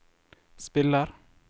spiller